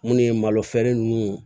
Munnu ye malo feere ninnu